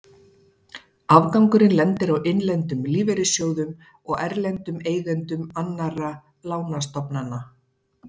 Afgangurinn lendir á innlendum lífeyrissjóðum og erlendum eigendum annarra lánastofnana.